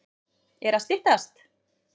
Er að styttast?